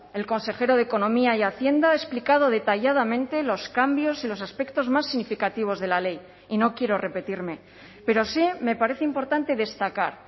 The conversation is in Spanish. el consejero de economía y hacienda ha explicado detalladamente los cambios en los aspectos más significativos de la ley y no quiero repetirme pero sí me parece importante destacar